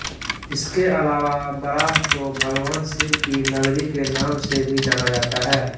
इसके अलावा बराह को भगवान शिव की नगरी के नाम से भी जाना जाता है